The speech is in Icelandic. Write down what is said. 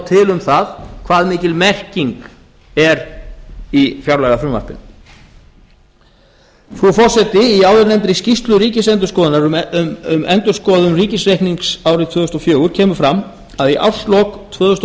til um það hve mikil merking er í fjárlagafrumvarpinu frú forseti í áðurnefndri skýrslu ríkisendurskoðunar um endurskoðun ríkisreiknings árið tvö þúsund og fjögur kemur fram að í árslok tvö þúsund og